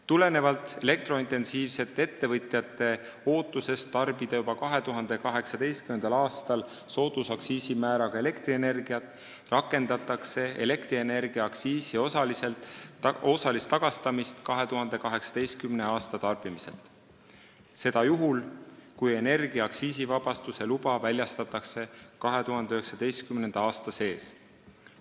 Tulenevalt elektrointensiivsete ettevõtjate ootusest tarbida juba 2018. aastal soodusaktsiisimääraga elektrienergiat rakendatakse elektrienergiaaktsiisi osalist tagastamist 2018. aasta tarbimiselt, seda juhul, kui energia aktsiisivabastuse luba väljastatakse 2019. aasta sees.